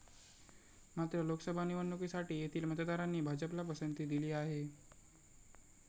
मात्र, लोकसभा निवडणुकीसाठी येथील मतदारांनी भाजपला पसंती दिली आहे.